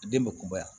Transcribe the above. Den be kunbaya